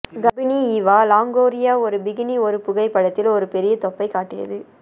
கர்ப்பிணி Eva Longoria ஒரு bikini ஒரு புகைப்படத்தில் ஒரு பெரிய தொப்பை காட்டியது